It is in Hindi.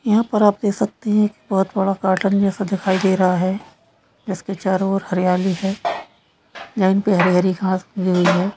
यहां पर आप देख सकते है एक बहुत बड़ा गार्डेन जैसा दिखाई दे रहा है जिसके चारो ओर हरियाली है जमीन पर हरी-हरी घास है।